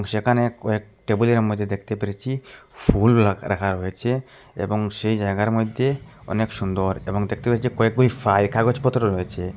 যেখানে কয়েক টেবিলে র মদ্যে দেখতে পেরেছি ফুল রাখা রাখা রয়েচে এবং সেই জায়গার মইদ্যে অনেক সুন্দর এবং দেখতে পেয়েচি কয় কয় ফাইল কাগজপত্র রয়েছে।